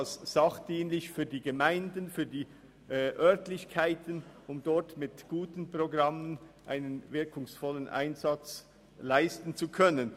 Ebenso sachdienlich sind sie für die Gemeinden und die Örtlichkeiten, damit dort mit guten Programmen ein wirkungsvoller Einsatz geleistet werden kann.